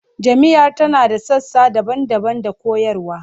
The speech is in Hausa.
Jami'ar tana da sassa daban-daban da koyarwa